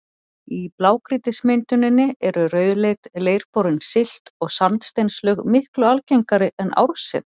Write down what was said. Í blágrýtismynduninni eru rauðleit, leirborin silt- og sandsteinslög miklu algengari en árset.